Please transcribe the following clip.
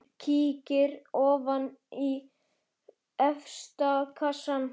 Hann kíkir ofan í efsta kassann.